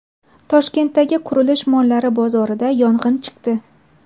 Toshkentdagi qurilish mollari bozorida yong‘in chiqdi.